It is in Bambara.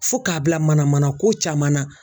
Fo k'a bila manamanako caman na